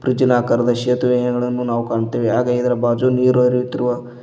ಉಜಿಲಾಕಾರದ ಸೇತುವೆಯಡನ್ನು ನಾವು ಕಾಣುತ್ತೆವೆ ಹಾಗೆ ಇದರ ಭಾಜು ನೀರು ಹರಿಯುತ್ತಿರುವ --